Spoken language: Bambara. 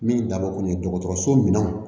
Min dabɔ kun ye dɔgɔtɔrɔso min